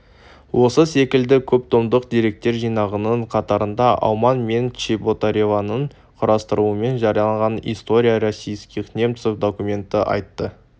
осы секілді көп томдық деректер жинағының қатарында ауман мен чеботареваның құрастыруымен жарияланған история российских немцев документах атты